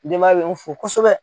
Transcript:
Denba ya bɛ n fo kosɛbɛ.